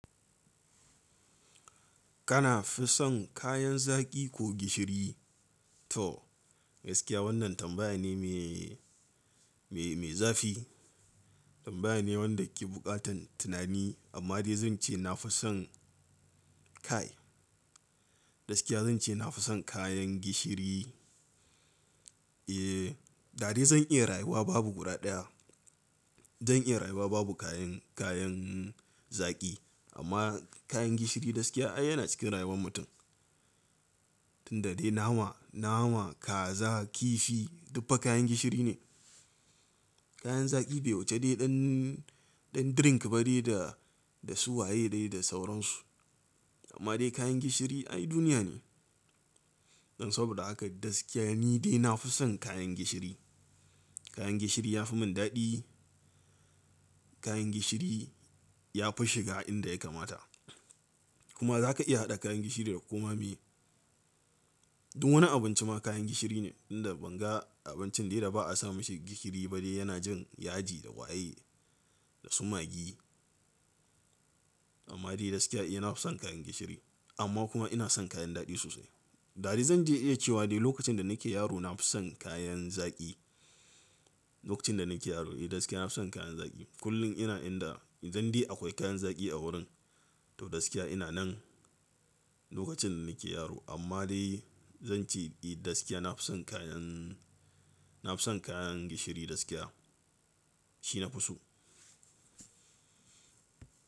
Kana fi son kayan zaki ko gishiri? To gaskiya wannan tambaya ne mai, mai, mai zafi. Tambaya ne wanda ke buƙatan tunani amma dai zan ce na fi son kai. Gaskiya zan ce na fi son kayan gishiri. Eh, da dai zan iya rayuwa babu guda ɗaya. Zan iya rayuwa babu kayan, kayan zaki amma kayan gishiri gaskiya ai yana cikin rayuwar mutum. Tun da dai nama, nama, kaza, kifi duk fa kayan gishiri ne. Kayan zaki bai wuce dai ɗan, ɗan drink ba dai da, da su waye dai da sauransu. Amma dai kayan gishiri ai duniya ne. Don saboda haka gaskiya ni dai na fi son kayan gishiri. Kayan gishiri ya fi mun daɗi. Kayan gishiri ya fi shiga inda ya kamata. Kuma zaka iya haɗa kayan gishiri da komai mai. Duk wani abinci ma kayan gishiri ne, inda ban ga abincin dai da ba a samu shi gishiri ba dai yana jin yaji da waye da su magi. Amma dai gaskiya e na fi son kayan gishiri amma kuma ina son kayan daɗi sosai. Da dai zan je in iya cewa dai lokacin da nake yaro na fi son kayan zaki. Lokacin da nake yaro eh gaskiya na fi son kayan zaki. Kullum ina inda idan de akwai kayan zaki a wurin to gaskiya ina nan lokacin da nake yaro. Amma dai zan ce i gaskiya na fi son kayan, na fi son kayan gishiri gaskiya. Shi nafi so.